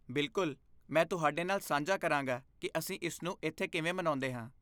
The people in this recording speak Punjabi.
ਬਿਲਕੁਲ! ਮੈਂ ਤੁਹਾਡੇ ਨਾਲ ਸਾਂਝਾ ਕਰਾਂਗਾ ਕਿ ਅਸੀਂ ਇਸਨੂੰ ਇੱਥੇ ਕਿਵੇਂ ਮਨਾਉਂਦੇ ਹਾਂ।